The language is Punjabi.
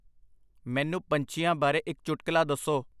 ਮੈਨੂੰ ਪੰਛੀਆਂ ਬਾਰੇ ਇੱਕ ਚੁਟਕਲਾ ਦੱਸੋ